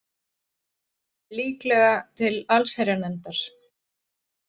Líklega til allsherjarnefndar